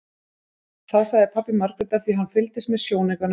Það sagði pabbi Margrétar því hann fylgdist með í sjónaukanum sem